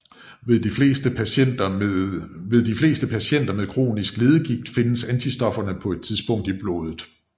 Ved de fleste patienter med kronisk leddegigt findes antistofferne på et tidspunkt i blodet